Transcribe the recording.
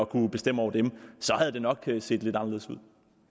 kunnet bestemme over dem havde det nok set lidt anderledes ud